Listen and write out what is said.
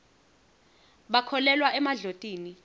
bakholelwa emadlotini